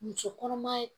Muso kɔnɔma ye